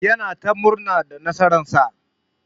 Yana ta murna da nasara'n sa.